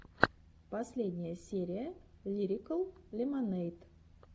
последняя серия лирикал лемонэйд